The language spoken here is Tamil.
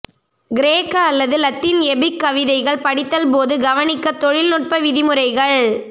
கிரேக்க அல்லது லத்தீன் எபிக் கவிதைகள் படித்தல் போது கவனிக்க தொழில்நுட்ப விதிமுறைகள்